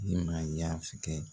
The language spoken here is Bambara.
N'i man kɛ